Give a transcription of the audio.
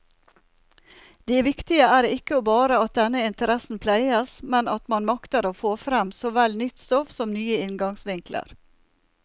Det viktige er ikke bare at denne interessen pleies, men at man makter få frem såvel nytt stoff som nye inngangsvinkler.